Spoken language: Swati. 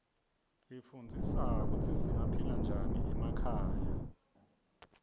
ifundzisa kutsi singaphila njani emakhaya